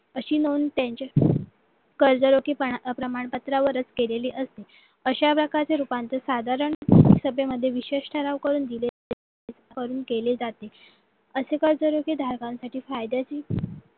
अशी नोंद त्यांची करजोरीकीपणा प्रमाणपत्रावर केलेली असते अशा प्रकारची रूपांतर साधारण सभेमध्ये विशेष ठराव करून दिले जातात असे कर्जरोखे धारकांसाठी फायदेचे